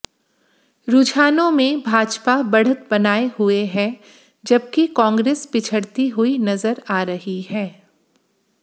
रूझानो में भाजपा बढ़त बनाए हुए है जबकि कांग्रेस पिछड़ती हुई नजर आ रही है